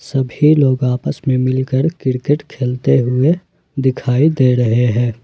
सभी लोग आपस में मिलकर क्रिकेट खेलते हुए दिखाई दे रहे हैं।